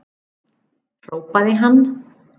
hrópaði hann.